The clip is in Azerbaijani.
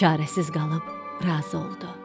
Çarəsiz qalıb razı oldu.